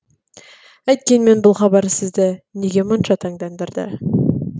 әйткенмен бұл хабар сізді неге мұнша таңдандырды